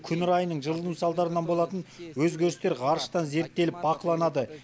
күн райының жылыну салдарынан болатын өзгерістер ғарыштан зерттеліп бақыланады